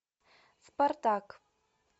спартак